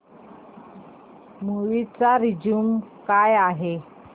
movie चा review काय आहे